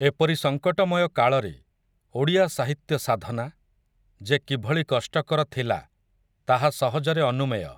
ଏପରି ସଙ୍କଟମୟ କାଳରେ, ଓଡ଼ିଆ ସାହିତ୍ୟ ସାଧନା, ଯେ କିଭଳି କଷ୍ଟକର ଥିଲା, ତାହା ସହଜରେ ଅନୁମେୟ ।